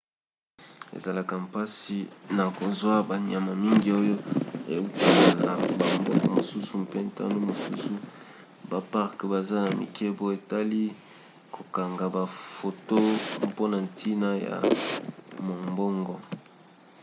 ezalaka mpasi na kozwa banyama mingi oyo eutaka na bamboka mosusu mpe ntango mosusu baparke baza na mibeko etali kokanga bafoto mpona ntina ya mombongo